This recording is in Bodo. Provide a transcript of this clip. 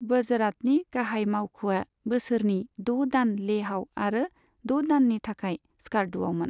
वजरातनि गाहाय मावख'आ बोसोरनि द' दान लेहआव आरो द' दाननि थाखाय स्कार्दुआवमोन।